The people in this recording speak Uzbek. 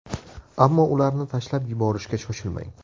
Ammo ularni tashlab yuborishga shoshilmang.